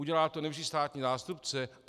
Udělá to nejvyšší státní zástupce?